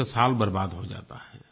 उसका साल बर्बाद हो जाता है